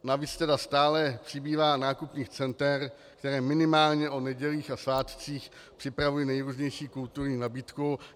Navíc tedy stále přibývá nákupních center, která minimálně o nedělích a svátcích připravují nejrůznější kulturní nabídku.